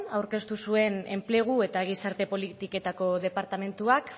aurkeztu zuen enplegu eta gizarte politiketako departamentuak